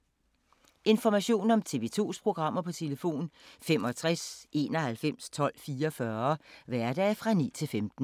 Information om TV 2's programmer: 65 91 12 44, hverdage 9-15.